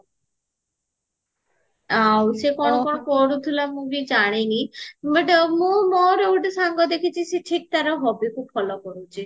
ଆଉ ସେ କଣ କଣ କରୁଥିଲା ମୁଁବି ଜାଣିନି but ମୁଁ ମୋର ଗୋଟେ ସାଙ୍ଗ ଦେଖିଚି ସେ ଠିକ ତାର hobbyକୁ follow କରୁଚି